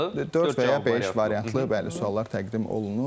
Dörd və ya beş variantlı, bəli, suallar təqdim olunur.